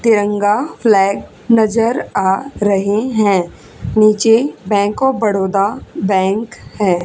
तिरंगा फ्लैग नजर आ रहे हैं नीचे बैंक ऑफ़ बड़ोदा बैंक है।